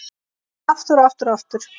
Aftur og aftur og aftur.